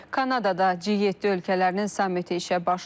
Kanadada G7 ölkələrinin sammiti işə başlayır.